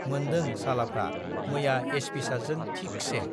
मोनदों सालाफ्रा मैया एसपि सारजों थिकसे।